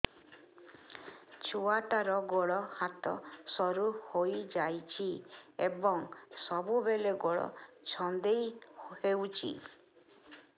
ଛୁଆଟାର ଗୋଡ଼ ହାତ ସରୁ ହୋଇଯାଇଛି ଏବଂ ସବୁବେଳେ ଗୋଡ଼ ଛଂଦେଇ ହେଉଛି